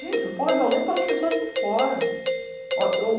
Gente, São Paulo é violento pelas pessoas de fora.